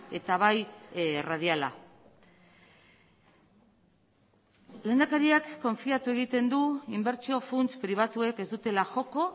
eta bai erradiala lehendakariak konfiatu egiten du inbertsio funts pribatuek ez dutela joko